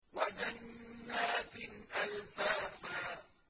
وَجَنَّاتٍ أَلْفَافًا